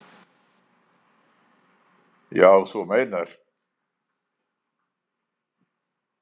Já, þú meinar!